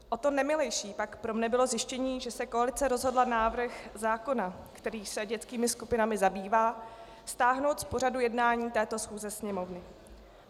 O to nemilejší pak pro mě bylo zjištění, že se koalice rozhodla návrh zákona, který se dětskými skupinami zabývá, stáhnout z pořadu jednání této schůze Sněmovny.